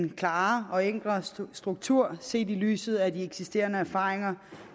mere klar og enkel struktur set i lyset af de eksisterende erfaringer